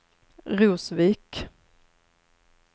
Rosvik